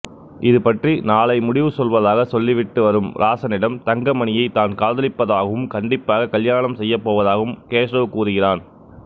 இதுபற்றி நாளை முடிவு சொல்வதாக சொல்லிவிட்டுவரும் ராசனிடம் தங்கமணியை தான் காதலிப்பதாகவும் கண்டிப்பாக கல்யாணம் செய்யப்போவதாகவும் கேசவ் கூறுகிறான்